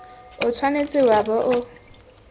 o tshwanetse wa bo o